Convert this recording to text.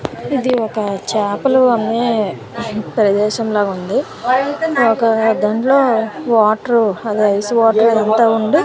ఇది ఒక చాపలు అమ్మే ప్రదేశం లాగుంది ఒక దాంట్లో వాటరు అదే ఐస్ వాటర్ అదంతా ఉండి--